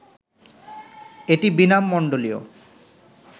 এটি বীণামণ্ডলীয়